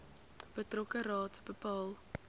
betrokke raad bepaal